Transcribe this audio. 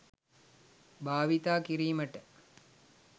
භාවිත කිරීමට